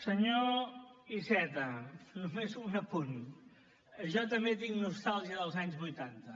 senyor iceta només un apunt jo també tinc nostàlgia dels anys vuitanta